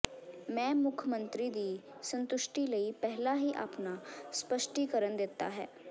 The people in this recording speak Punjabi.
ਮੈਂ ਮੁੱਖ ਮੰਤਰੀ ਦੀ ਸੰਤੁਸ਼ਟੀ ਲਈ ਪਹਿਲਾਂ ਹੀ ਆਪਣਾ ਸਪਸ਼ਟੀਕਰਨ ਦਿੱਤਾ ਹੈ